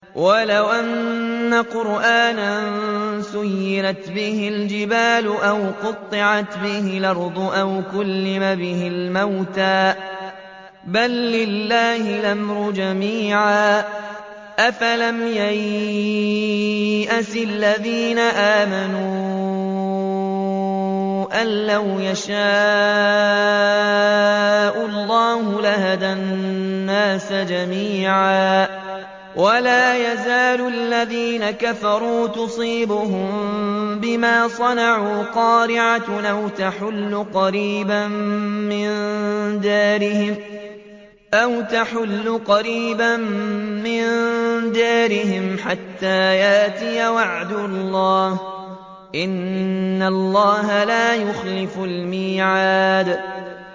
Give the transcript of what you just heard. وَلَوْ أَنَّ قُرْآنًا سُيِّرَتْ بِهِ الْجِبَالُ أَوْ قُطِّعَتْ بِهِ الْأَرْضُ أَوْ كُلِّمَ بِهِ الْمَوْتَىٰ ۗ بَل لِّلَّهِ الْأَمْرُ جَمِيعًا ۗ أَفَلَمْ يَيْأَسِ الَّذِينَ آمَنُوا أَن لَّوْ يَشَاءُ اللَّهُ لَهَدَى النَّاسَ جَمِيعًا ۗ وَلَا يَزَالُ الَّذِينَ كَفَرُوا تُصِيبُهُم بِمَا صَنَعُوا قَارِعَةٌ أَوْ تَحُلُّ قَرِيبًا مِّن دَارِهِمْ حَتَّىٰ يَأْتِيَ وَعْدُ اللَّهِ ۚ إِنَّ اللَّهَ لَا يُخْلِفُ الْمِيعَادَ